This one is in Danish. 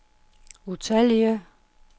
utallige